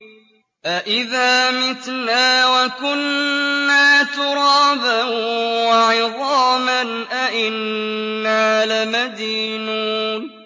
أَإِذَا مِتْنَا وَكُنَّا تُرَابًا وَعِظَامًا أَإِنَّا لَمَدِينُونَ